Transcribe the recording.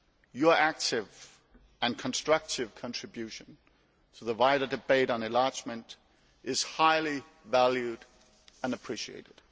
Your active and constructive contribution to the wider debate on enlargement is highly valued and appreciated.